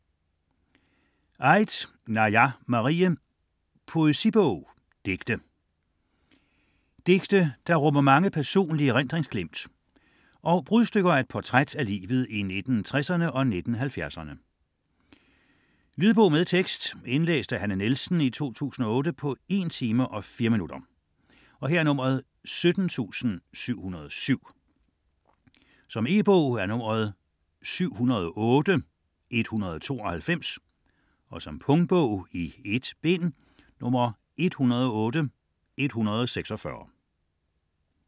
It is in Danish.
Aidt, Naja Marie: Poesibog: digte Digte som rummer mange personlige erindringsglimt og brudstykker af et portræt af livet i 1960'erne og 1970'erne. Lydbog med tekst 17707 Indlæst af Hanne Nielsen, 2008. Spilletid: 1 time, 4 minutter. E-bog 708192 2008. Punktbog 108146 2008. 1 bind.